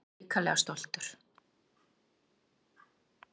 Ég er hrikalega stoltur.